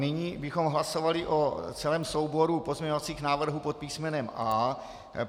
Nyní bychom hlasovali o celém souboru pozměňovacích návrhů pod písmenem A.